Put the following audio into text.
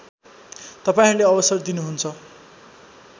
तपाईँहरूले अवसर दिनुहुन्छ